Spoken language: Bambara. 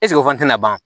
o fana tɛna ban